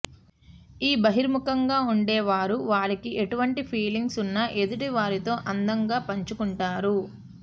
ఈ బహిర్ముఖంగా ఉండేవారు వారికి ఎటువంటి ఫీలింగ్స్ ఉన్న ఎదుటి వారితో అందంగా పంచుకుంటారు